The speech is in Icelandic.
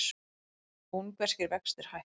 Ungverskir vextir hækka